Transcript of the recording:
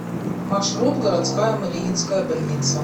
маршрут городская мариинская больница